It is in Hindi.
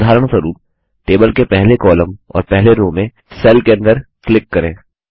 उदहारस्वरूप टेबल के पहले कॉलम और पहले रो में सेल के अंदर क्लिक करें